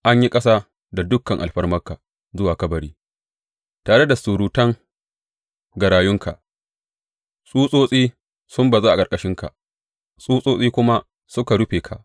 An yi ƙasa da dukan alfarmarka zuwa kabari, tare da surutan garayunka; tsutsotsi sun bazu a ƙarƙashinka tsutsotsi kuma suka rufe ka.